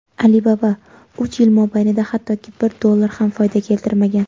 "Alibaba" uch yil mobaynida hattoki bir dollar ham foyda keltirmagan.